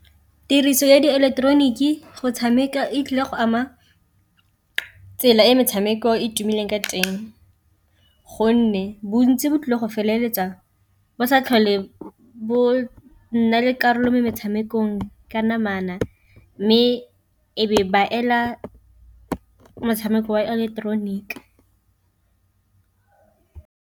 Tiriso ya diileketeroniki go tshameka e tlile go ama tsela e metshameko e e tumileng ka teng, gonne bontsi bo tlile go feleletsa bo sa tlhole bo nna le karolo mo metshamekong ka namana, mme e be ba ela motshameko wa ileketeroniki.